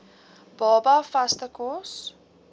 baba vaste kos